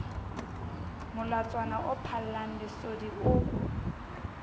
molatswana o phallang lesodi o